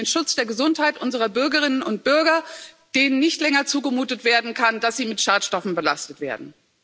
Da geht es um den Schutz der Gesundheit unserer Bürgerinnen und Bürger, denen nicht länger zugemutet werden kann, dass sie mit Schadstoffen belastet werden.